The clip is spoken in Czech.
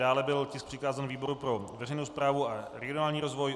Dále byl tisk přikázán výboru pro veřejnou správu a regionální rozvoj.